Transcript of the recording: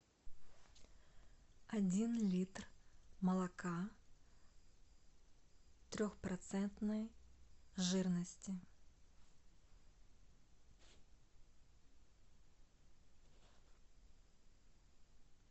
один литр молока трехпроцентной жирности